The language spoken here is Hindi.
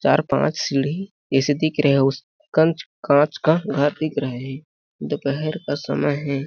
चार- पाँच सीढ़ी ऐसे दिख रहे है उस काँच का घर दिख रहे है दोपहर का समय हैं ।